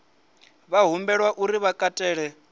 vha humbelwa uri vha katele